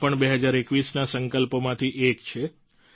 આ પણ 2021ના સંકલ્પોમાંથી એક છે